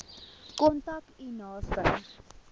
kontak u naaste